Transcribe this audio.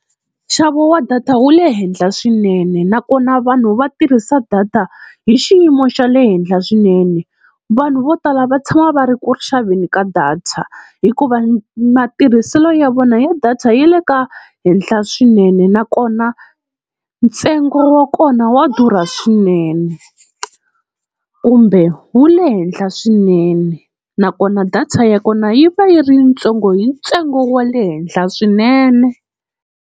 Nxavo wa data wu le henhla swinene, nakona vanhu va tirhisa data hi xiyimo xa le henhla swinene. Vanhu vo tala va tshama va ri ku xaveni ka data hikuva matirhiselo ya vona ya data ya le ka henhla swinene, nakona ntsengo wa kona wa durha swinene kumbe wu le henhla swinene. Nakona data ya kona yi va yi ri ntsongo hi ntsengo wa le henhla swinene.